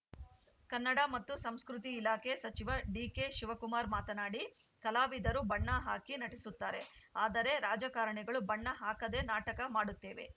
ಕನ್ನಡ ಮತ್ತು ಸಂಸ್ಕೃತಿ ಇಲಾಖೆ ಸಚಿವ ಡಿಕೆಶಿವಕುಮಾರ್‌ ಮಾತನಾಡಿ ಕಲಾವಿದರು ಬಣ್ಣ ಹಾಕಿ ನಟಿಸುತ್ತಾರೆ ಆದರೆ ರಾಜಕಾರಣಿಗಳು ಬಣ್ಣ ಹಾಕದೆ ನಾಟಕ ಮಾಡುತ್ತೇವೆ